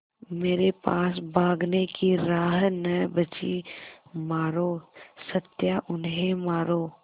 मेरे पास भागने की राह न बची मारो सत्या उन्हें मारो